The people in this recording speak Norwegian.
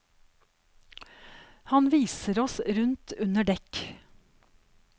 Han viser oss rundt under dekk.